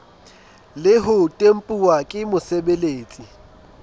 le ho tempuwa ke mosebeletsi